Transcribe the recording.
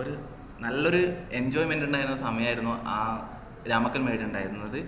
ഒരു നല്ലൊരു enjoyment ഇണ്ടായ ഒരു സമയായിരുന്നു ആഹ് രാമക്കൽമേട് ഇണ്ടായിരുന്നത്